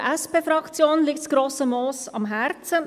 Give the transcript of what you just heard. Auch der SP-JUSO-PSA-Fraktion liegt das Grosse Moos am Herzen.